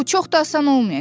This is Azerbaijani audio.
Bu çox da asan olmayacaq.